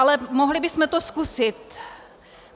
Ale mohli bychom to zkusit.